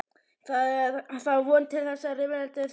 Það er þá von til þess að rifrildum þeirra fækki.